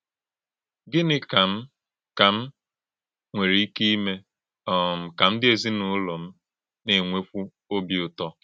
Gínị kà m kà m nwere ike ímé um kà ndí èzìnúlò m na-ènwekwú òbì ụ̀tó?